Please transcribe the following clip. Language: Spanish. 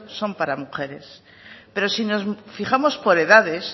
son para mujeres pero si nos fijamos por edades